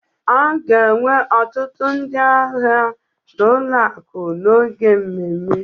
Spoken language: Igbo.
A ga-enwe ọtụtụ ndị ahịa na ụlọ akụ n'oge mmemme